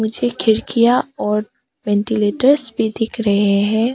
पीछे खिड़कियां और वेंटीलेटर्स भी दिख रहे हैं।